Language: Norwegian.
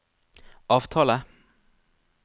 avtale